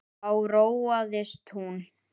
Þá róaðist hún.